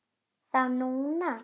Þá og núna.